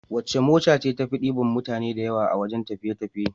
Wace mota ce tafi diban mutane da yawa wajan tafiye tafiye